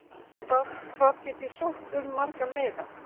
Hvað get ég sótt um marga miða?